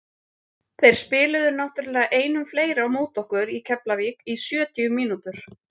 Þeir spiluðu náttúrulega einum fleiri á móti okkur í Keflavík í sjötíu mínútur.